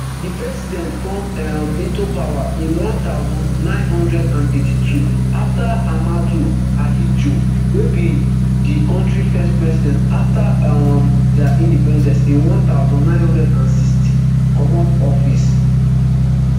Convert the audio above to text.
di president come um into power in one thousand, nine hundred and eighty-two afta ahmadou ahidjo wey be di kontri first president afta um dia independence in one thousand, nine hundred and sixty comot office